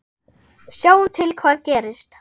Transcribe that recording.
Sjáum til hvað gerist.